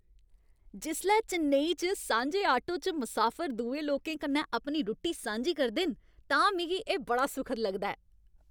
जिसलै चेन्नई च सांझे आटो च मुसाफर दुए लोकें कन्नै रुट्टी सांझी करदे न तां मिगी एह् बड़ा सुखद लगदा ऐ।